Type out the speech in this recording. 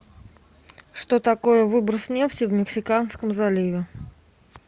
что такое выброс нефти в мексиканском заливе